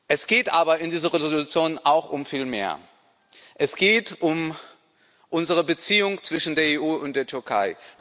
Es geht aber in dieser Entschließung auch um viel mehr Es geht um die Beziehungen zwischen der EU und der Türkei.